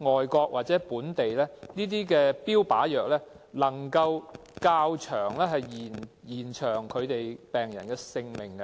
外國和本地的研究顯示，這些標靶藥能夠延長病人的性命。